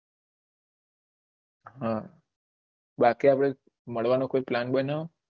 હા બાકી આપળે મળવાનું કોઈ પ્લાન બનાવો